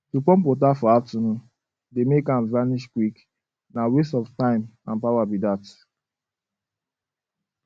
to pump water for afternoon dey make am vanish quick na waste of time and power be dat